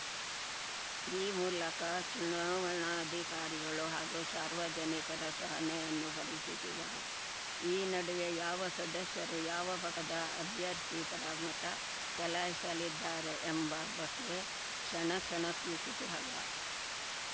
ಈ ಮೂಲಕ ಚುನಾವಣಾಧಿಕಾರಿಗಳು ಹಾಗೂ ಸಾರ್ವಜನಿಕರ ಸಹನೆಯನ್ನೂ ಪರೀಕ್ಷಿಸಿದರು ಈ ನಡುವೆ ಯಾವ ಸದಸ್ಯರು ಯಾವ ಪದ ಅಭ್ಯರ್ಥಿ ಪರ ಮತ ಚಲಾಯಿಸಲಿದ್ದಾರೆ ಎಂಬ ಬಗ್ಗೆ ಕ್ಷಣಕ್ಷಣಕ್ಕೂ ಕುತೂಹಲ